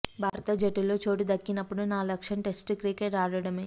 భారత జట్టులో చోటు దక్కినప్పుడు నా లక్ష్యం టెస్టు క్రికెట్ ఆడడమే